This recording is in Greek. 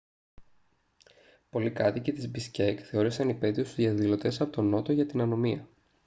πολλοί κάτοικοι της μπισκέκ θεώρησαν υπαίτιους τους διαδηλωτές από τον νότο για την ανομία